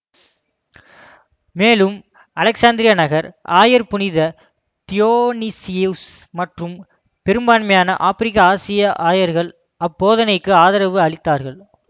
மேலும் அலெக்சாந்திரிய நகர் ஆயர் புனித தியோனீசியுஸ் மற்றும் பெரும்பான்மையான ஆப்பிரிக்க ஆசிய ஆயர்கள் அப்போதனைக்கு ஆதரவு அளித்தார்கள்